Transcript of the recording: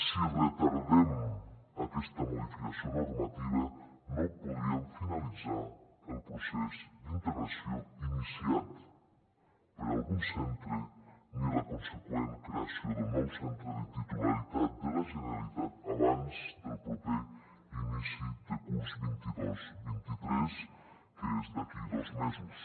si retardem aquesta modificació normativa no podríem finalitzar el procés d’integració iniciat per algun centre ni la conseqüent creació del nou centre de titularitat de la generalitat abans del proper inici de curs vint dos vint tres que és d’aquí a dos mesos